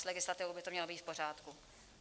S legislativou by to mělo být v pořádku.